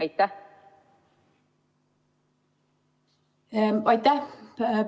Aitäh!